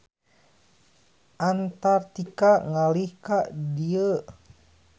Antartika ngalih ka dieu.